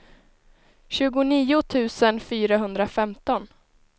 tjugonio tusen fyrahundrafemton